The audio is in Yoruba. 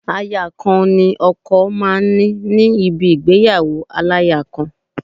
Aya kan ni ọkọ máa ń ní ní níbi ìgbéyàwó aláya kan